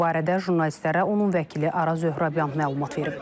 Bu barədə jurnalistlərə onun vəkili Araz Zöhrabyan məlumat verib.